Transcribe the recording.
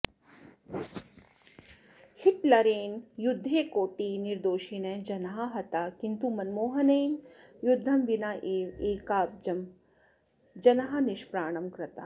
हिटलरेन युद्धे कोटिः निर्दोषिनः जनाः हताः किन्तु मनमोहनेन युद्धं विनेव एकाब्जं जनाः निष्प्राणं कृताः